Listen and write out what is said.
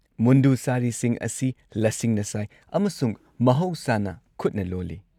ꯃꯨꯟꯗꯨ-ꯁꯥꯔꯤꯁꯤꯡ ꯑꯁꯤ ꯂꯁꯤꯡꯅ ꯁꯥꯏ ꯑꯃꯁꯨꯡ ꯃꯍꯧꯁꯥꯅ ꯈꯨꯠꯅ ꯂꯣꯜꯂꯤ꯫